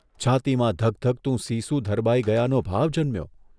છાતીમાં ધગધગતું સીસું ધરબાઇ ગયાનો ભાવ જન્મ્યો.